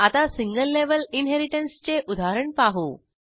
आता single level इनहेरिटन्सचे उदाहरण पाहू